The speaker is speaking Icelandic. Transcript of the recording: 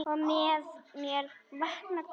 Og með mér vaknar grunur.